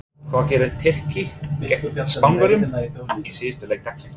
Hvað gera Tyrkir gegn Spánverjum í síðasta leik dagsins?